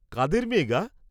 কাদের মেয়ে গা?